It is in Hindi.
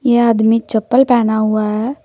यह आदमी चप्पल पहना हुआ है।